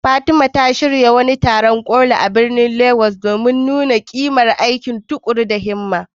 Fatima ta shirya wani taron ƙoli a birnin Legas domin nuna ƙimar aiki tuƙuru da himma.